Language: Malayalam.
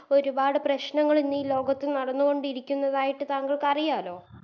ഒരുപാട് പ്രശ്നങ്ങളിന്നി ലോകത്ത് നടന്നുകൊണ്ടിരിക്കുന്നതായിട്ട് താങ്കൾക്ക് അറിയാലോ